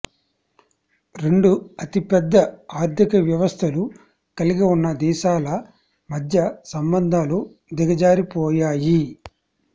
రెండు అతిపెద్ద ఆర్థిక వ్యవస్థలు కలిగివున్న దేశాల మధ్య సంబంధాలు దిగజారిపోయాయి